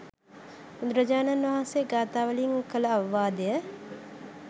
බුදුරජාණන් වහන්සේ ගාථා වලින් කළ අවවාදය